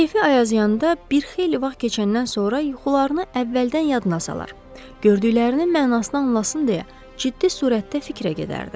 Kefi ayazyanda bir xeyli vaxt keçəndən sonra yuxularını əvvəldən yadına salar, gördüklərinin mənasını anlasın deyə ciddi surətdə fikrə gedərdi.